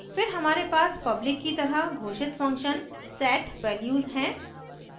फिर हमारे पास public की तरह घोषित function set _ values हैं